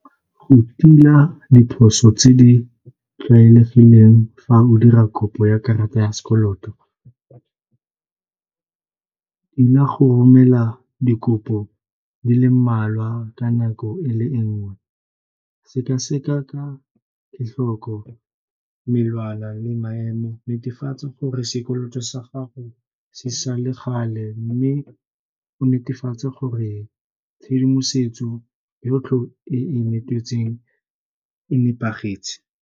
Go tila diphoso tse di tlwaelegileng fa o dira kopo ya karata ya sekoloto, tila go romela dikopo di le mmalwa ka nako e le nngwe, sekaseka ka di tlhoko, le maemo, netefatsa gore sekoloto sa gago se sa le gale mme o netefatse gore tshedimosetso yotlhe eo e e nepagetse.